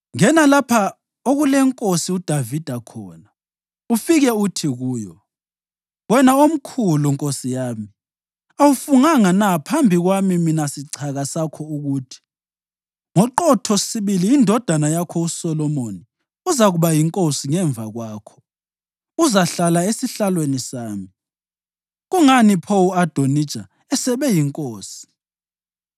Ngena lapha okulenkosi uDavida khona ufike uthi kuyo, ‘Wena omkhulu nkosi yami, awufunganga na phambi kwami mina sichaka sakho ukuthi: “Ngoqotho sibili indodana yakho uSolomoni uzakuba yinkosi ngemva kwakho, uzahlala esihlalweni sami”? Kungani pho u-Adonija esebe yinkosi?’